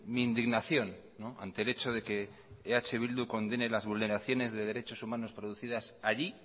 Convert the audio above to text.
mi indignación ante el hecho de que eh bildu condene las vulneraciones de derechos humanos producidas allí